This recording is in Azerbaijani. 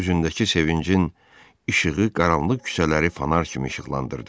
Üzündəki sevincin işığı qaranlıq küçələri fanar kimi işıqlandırdı.